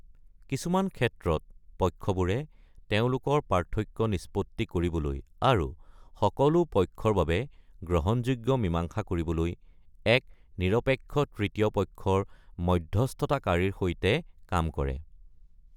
কিছুমান ক্ষেত্ৰত, পক্ষবোৰে তেওঁলোকৰ পাৰ্থক্য নিষ্পত্তি কৰিবলৈ আৰু সকলো পক্ষৰ বাবে গ্ৰহণযোগ্য মীমাংসা কৰিবলৈ এক নিৰপেক্ষ তৃতীয় পক্ষৰ মধ্যস্থতাকাৰীৰ সৈতে কাম কৰে।